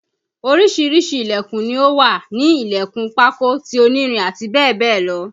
Oríṣiríṣi Ilẹ̀kùn ni ó wà a ní Ilẹ̀kùn pákó, ti onírin àti bẹ́ẹ̀ bẹ́ẹ̀ lọ